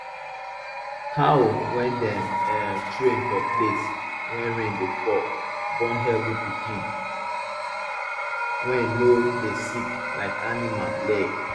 cow wey dem um train for place wey rain dey fall born healthy pikin wey no dey sick like animal leg